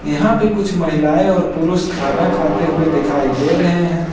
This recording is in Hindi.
यहां पे कुछ महिलाएं और पुरुष खाना खाते हुए दिखाई दे रहे हैं।